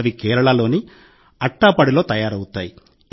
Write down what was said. అవి కేరళలోని అట్టాపడిలో తయారవుతాయి